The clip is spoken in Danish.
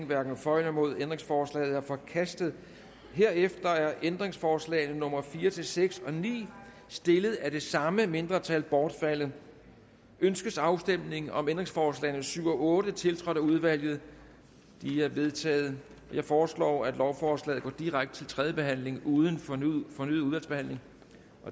hverken for eller imod ændringsforslaget er forkastet herefter er ændringsforslagene nummer fire seks og ni stillet af det samme mindretal bortfaldet ønskes afstemning om ændringsforslagene nummer syv og otte tiltrådt af udvalget de er vedtaget jeg foreslår at lovforslaget går direkte til tredje behandling uden fornyet udvalgsbehandling